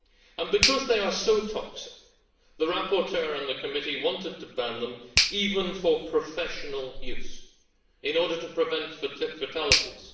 And, because they are so toxic, the rapporteur and the committee wanted to ban them, even for professional use, in order to prevent fatalities.